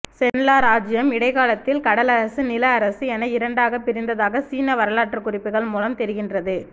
Chenla இராச்சியம் இடைகாலத்தில் கடலரசு நிலஅரசு என இரண்டாக பிரிந்ததாக சீன வரலாற்று குறிப்புகள் முலம் தெரிகின்றது